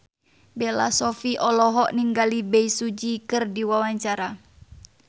Bella Shofie olohok ningali Bae Su Ji keur diwawancara